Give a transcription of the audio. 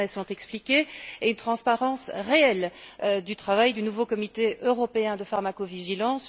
Turmes l'ont expliqué et une transparence réelle du travail du nouveau comité européen de pharmacovigilance.